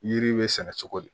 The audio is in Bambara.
Yiri be sɛnɛ cogo di